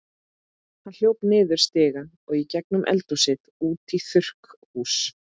Hann hljóp niður stigann og í gegnum eldhúsið út í þurrkhús.